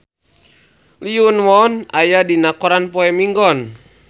Lee Yo Won aya dina koran poe Minggon